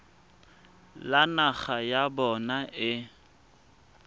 le naga ya bona e